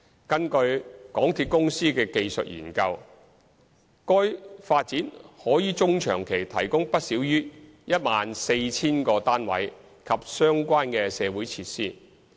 根據港鐵公司的技術研究，該發展可於中長期提供不少於 14,000 個單位及相關社區設施。